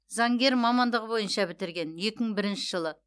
заңгер мамандығы бойынша бітірген екі мың бірінші жылы